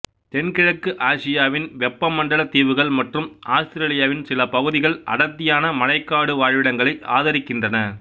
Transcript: தென்கிழக்கு ஆசியாவின் வெப்பமண்டல தீவுகள் மற்றும் ஆஸ்திரேலியாவின் சில பகுதிகள் அடர்த்தியான மழைக்காடு வாழ்விடங்களை ஆதரிக்கின்றன